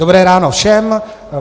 Dobré ráno všem.